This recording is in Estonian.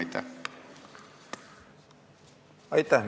Aitäh!